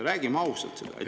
Räägime sellest ausalt.